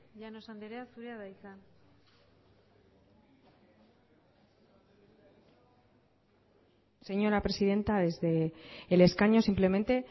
llanos anderea zurea da hitza señora presidenta desde el escaño simplemente